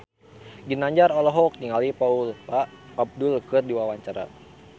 Ginanjar olohok ningali Paula Abdul keur diwawancara